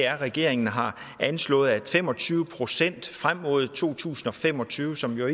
regeringen har anslået at fem og tyve procent frem mod to tusind og fem og tyve som jo